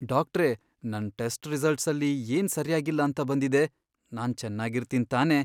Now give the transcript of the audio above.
ಡಾಕ್ಟ್ರೇ, ನನ್ ಟೆಸ್ಟ್ ರಿಸಲ್ಟ್ಸಲ್ಲಿ ಏನ್ ಸರ್ಯಾಗಿಲ್ಲ ಅಂತ ಬಂದಿದೆ? ನಾನ್ ಚೆನ್ನಾಗಿರ್ತೀನ್ ತಾನೇ?